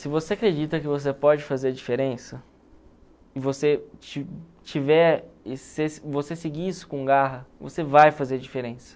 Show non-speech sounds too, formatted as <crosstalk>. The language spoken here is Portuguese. Se você acredita que você pode fazer a diferença, e você ti tiver <unintelligible> você seguir isso com garra, você vai fazer a diferença.